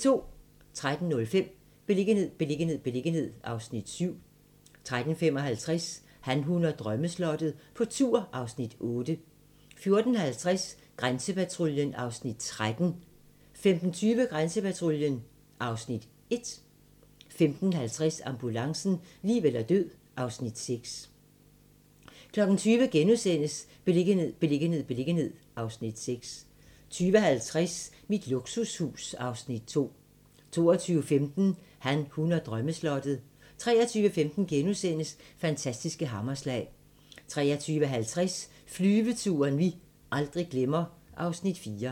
13:05: Beliggenhed, beliggenhed, beliggenhed (Afs. 7) 13:55: Han, hun og drømmeslottet - på tur (Afs. 8) 14:50: Grænsepatruljen (Afs. 13) 15:20: Grænsepatruljen (Afs. 1) 15:50: Ambulancen - liv eller død (Afs. 6) 20:00: Beliggenhed, beliggenhed, beliggenhed (Afs. 6)* 20:50: Mit luksushus (Afs. 2) 22:15: Han, hun og drømmeslottet 23:15: Fantastiske hammerslag * 23:50: Flyveturen vi aldrig glemmer (Afs. 4)